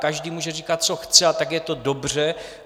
Každý může říkat, co chce, a tak je to dobře.